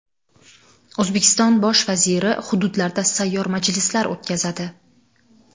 O‘zbekiston Bosh vaziri hududlarda sayyor majlislar o‘tkazadi.